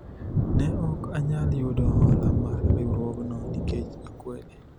ne ok anyal yudo hola mar riwruogno nikech akwede